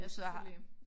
Ja selvfølgelig